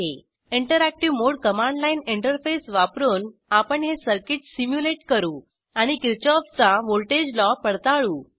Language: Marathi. interactive mode command line interface वापरून आपण हे सर्किट सिम्युलेट करू आणि किरशॉफचा व्हॉल्टेज लॉ पडताळू